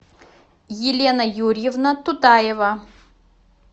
елена юрьевна тутаева